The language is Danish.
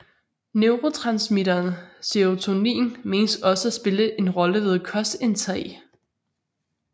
Neurotransmitteren serotonin menes også at spille en rolle ved kostindtag